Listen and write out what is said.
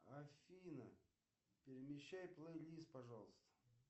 афина перемещай плейлист пожалуйста